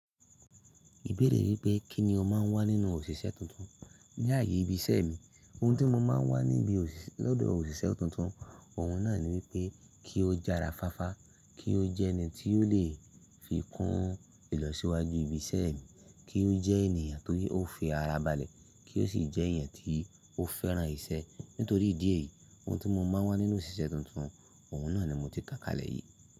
Ìbéèrè wípé kín ni o máa ń wá nínú òṣìṣẹ́ tuntun. Ni ààyè ibi iṣẹ́ mi, ohun tí mo má ń wá níbi lòdò òṣìṣẹ́ tuntun, òhun náà ni wípé kí ó jara fáfá, kí ó jẹ́ ẹni tí o lè fi kún ìlọsíwájú ibi iṣẹ́ mi, kí ó jẹ́ ènìyàn tó fi ara balẹ̀, kí ó sì jẹ́ eniyan tí ó fẹ́ràn ìṣe. Nítorí ìdí èyí, ohun tí mo máa ń wá nínú òṣìṣẹ́ tuntun, òhun náà ni mo ti kà kalẹ̀ yìí.